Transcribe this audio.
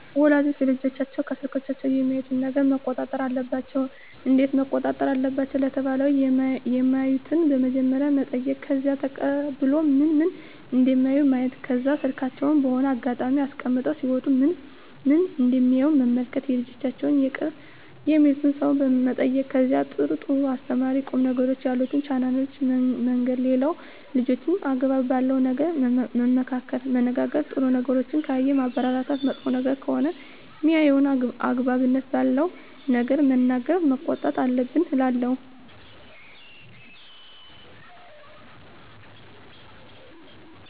ወላጆች ልጆቻቸውን ከስልኮች የሚያዩትን ነገረ መቆጣጠር አለባቸው እንዴት መቆጣጠር አለባቸው ለተባለው የማዩትን በመጀመሪያ መጠይቅ ከዛ ተቀብሎ ምን ምን እደሚያዩ ማየት ከዛ ስልካቸውን በሆነ አጋጣሚ አስቀምጠው ሲወጡ ምን ምን እደሚያዩ መመልከት የልጆቻቸውን የቅርብ የሚሉትን ሰው መጠየቅ ከዛ ጥሩ ጥሩ አስተማሪ ቁም ነገሮችን ያሉትን ቻናሎችን መንገር ሌላው ልጆችን አግባብ ባለው ነገር መመካከር መነጋገር ጥሩ ነገሮችን ካየ ማበረታታት መጥፎ ነገር ከሆነ ሜያየው አግባብነት ባለው ነገር መናገር መቆጣት አለብን እላለው